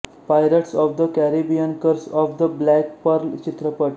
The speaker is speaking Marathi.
पायरट्स ऑफ द कॅरीबियनकर्स ऑफ द ब्लॅक पर्ल चित्रपट